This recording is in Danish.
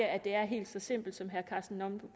at det er helt så simpelt som herre karsten